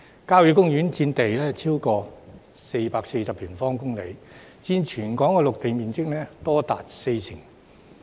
郊野公園佔地超過440平方公里，佔全港陸地面積多達四成。